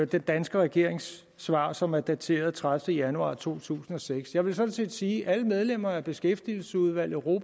den danske regerings svar som er dateret tredivete januar to tusind og seks jeg vil sådan set sige at alle medlemmer af beskæftigelsesudvalget